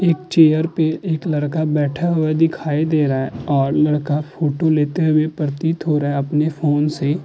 एक चेयर पे एक लड़का बैठा हुआ दिखाई दे रहा है और लड़का फोटो लेते हुए प्रतीत हो रहा है अपने फ़ोन से।